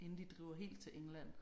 Inden de driver helt til England